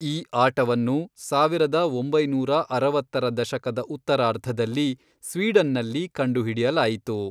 ಈ ಆಟವನ್ನು ಸಾವಿರದ ಒಂಬೈನೂರ ಅರವತ್ತರ ದಶಕದ ಉತ್ತರಾರ್ಧದಲ್ಲಿ ಸ್ವೀಡನ್ನಲ್ಲಿ ಕಂಡುಹಿಡಿಯಲಾಯಿತು.